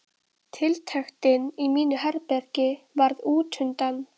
Tiltektin í mínu herbergi varð útundan.